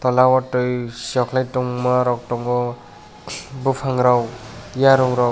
abo tui tongma rok tongo bopang rok yarong rok.